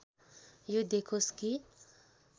यो देखोस् कि